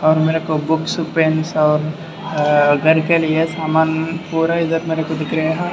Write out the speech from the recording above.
और मेरेको books pens और अं घर के लिए सामान पुरे इधर मेरे को दिख रहे।